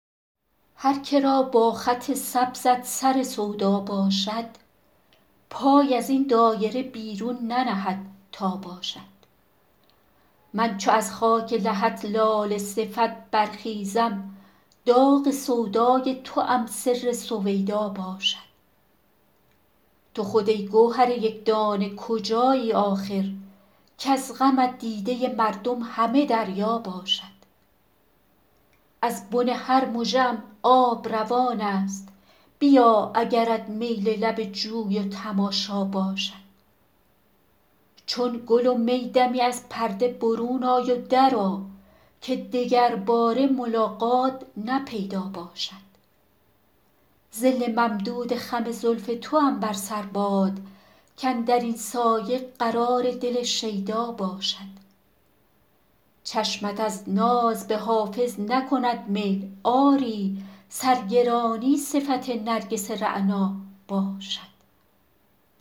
هر که را با خط سبزت سر سودا باشد پای از این دایره بیرون ننهد تا باشد من چو از خاک لحد لاله صفت برخیزم داغ سودای توام سر سویدا باشد تو خود ای گوهر یک دانه کجایی آخر کز غمت دیده مردم همه دریا باشد از بن هر مژه ام آب روان است بیا اگرت میل لب جوی و تماشا باشد چون گل و می دمی از پرده برون آی و درآ که دگرباره ملاقات نه پیدا باشد ظل ممدود خم زلف توام بر سر باد کاندر این سایه قرار دل شیدا باشد چشمت از ناز به حافظ نکند میل آری سرگرانی صفت نرگس رعنا باشد